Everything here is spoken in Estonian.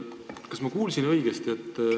Kas ma kuulsin õigesti?